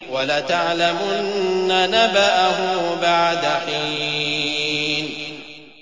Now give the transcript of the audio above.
وَلَتَعْلَمُنَّ نَبَأَهُ بَعْدَ حِينٍ